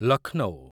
Lucknow